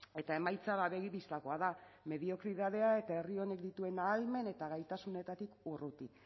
eta emaitza begi bistakoa da mediokridadea eta herri honek dituen ahalmen eta gaitasunetatik urruti